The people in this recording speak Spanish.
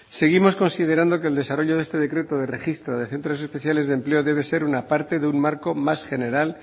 seguimos considerando que el desarrollo de este decreto de registro de centros especiales de empleo debe ser una parte de un marco más general